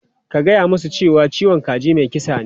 Ka gaya musu cewa "ciwon kaji mai kisa ne!".